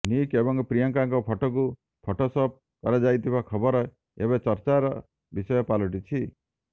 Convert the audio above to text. Nick ଏବଂ ପ୍ରିୟଙ୍କାଙ୍କ ଫଟୋକୁ ଫଟୋସପ୍ କରାଯାଇଥିବା ଖବର ଏବେ ଚର୍ଚ୍ଚାର ବିଷୟ ପାଲଟିଛି